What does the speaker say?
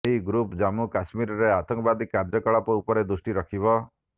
ଏହି ଗ୍ରୁପ ଜାମ୍ମୁ କାଶ୍ମୀରରେ ଆତଙ୍କବାଦୀ କାର୍ଯ୍ୟକଳାପ ଉପରେ ଦୃଷ୍ଟି ରଖିବ